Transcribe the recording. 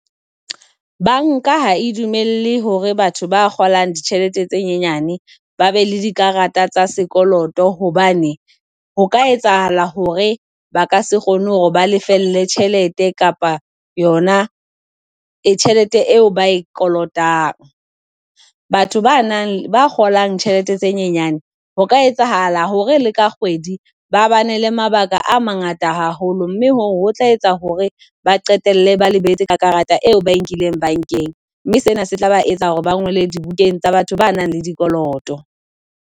Banka ha e dumele hore batho ba kgolang ditjhelete tse nyenyane ba be le dikarata tsa sekoloto hobane ho ka etsahala hore ba ka se kgone hore ba lefelle tjhelete kapa yona e tjhelete eo ba e kolotang. Batho ba nang ba kgolang tjhelete tse nyenyane ho ka etsahala hore le ka kgwedi ba bane le mabaka a mangata haholo mme hoo ho tla etsa hore ba qetelle ba lebetse karata eo ba e nkileng bankeng, mme sena se tla ba etsa hore ba ngolwe dibukeng tsa batho ba nang le dikoloto.